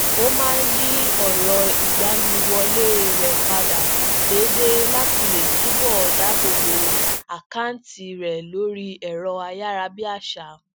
ó máa ń yí ọrọ igbaniwọle rẹ padà déédéé lati le tubọ dáàbòbo akanti rẹ lóri ẹrọ ayarabiaṣa